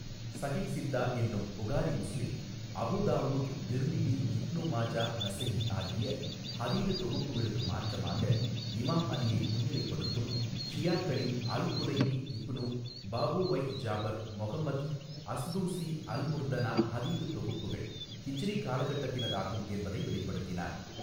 ஸஹிஹ்ஸித்தா என்னும் Bukhari Muslim Abu Dawood Tirmidhi Ibn Majah Nasai ஆகிய ஹதீது தொகுப்புகளுக்கு மாற்றமாக இமாம் அலியை முன்னிலைப்படுத்தும் ஷியாக்களின் அல்குலைனி இப்னு பாபுவைஹ் ஜாபர் மொகமத் அஸ்தூஸி அல்முர்த்தனா ஹதீது தொகுப்புகள் ஹிஜ்ரி காலகட்டத்தினதாகும் என்பதை வெளிப்படுத்தினார்.